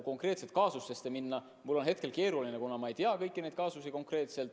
Konkreetset kaasust kommenteerida on mul hetkel keeruline, kuna ma ei tea kõiki asjaolusid.